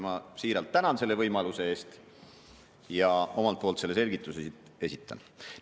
Ma siiralt tänan selle võimaluse eest ja omalt poolt selle selgituse nüüd esitan.